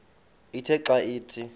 ithe xa ithi